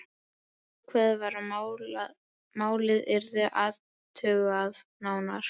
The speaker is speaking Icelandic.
Ákveðið var að málið yrði athugað nánar.